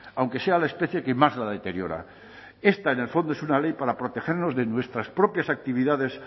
aunque sea la especie que más la deteriora esta en el fondo es una ley para protegernos de nuestras propias actividades